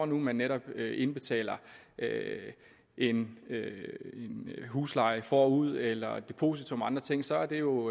nu netop indbetaler en husleje forud eller et depositum eller andre ting så er det jo